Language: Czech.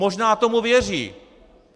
Možná tomu věří.